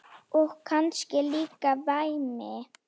Og kannski líka væmið.